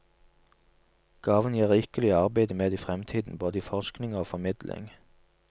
Gaven gir rikelig å arbeide med i fremtiden, både i forskning og formidling.